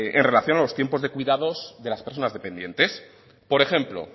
en relación a los tiempos de cuidados de las personas dependientes por ejemplo